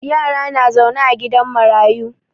Yara na zaune a gidan marayu.